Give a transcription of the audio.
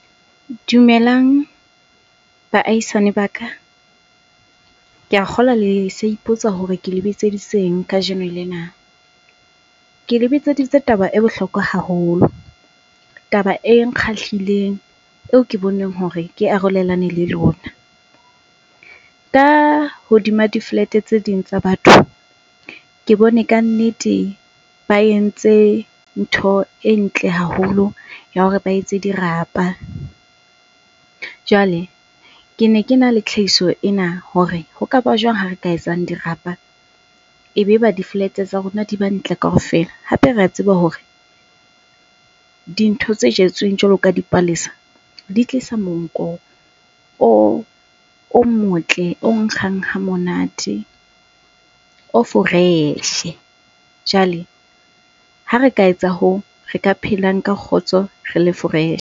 Dumelang baahisane ba ka. Ke a kgolwa le sa ipotsa hore ke le bitseditseng kajeno lena. Ke le bitsedtse taba e bohlokwa haholo. Taba e nkgahlileng eo ke boneng hore ke arolelane le lona. Ka hodima di-flat-e tse ding tsa batho, ke bone ka nnete ba entse ntho e ntle haholo ya hore ba etse dirapa. Jwale, ke ne kena le tlhahiso ena hore ho kaba jwang ha re ka etsang dirapa e be ba di-flat-e tsa rona di ba ntle kaofela. Hape re a tseba hore dintho tse jetsweng jwalo ka dipalesa di tlisa monko o motle, o nkgang ha monate, o fresh-e. Jwale ha re ka etsa hoo, re ka phelang ka kgotso re le .